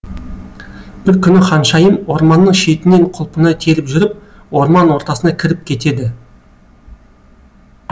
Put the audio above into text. бір күні ханшайым орманның шетіннен құлпынай теріп жүріп орман ортасына кіріп кетеді